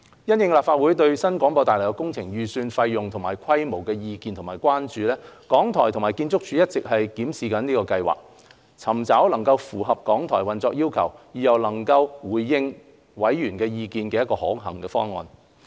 因應立法會對新廣播大樓工程預算費用及規模的意見和關注，港台和建築署一直檢視計劃，尋找能符合港台運作要求，而又能回應委員意見的可行方案。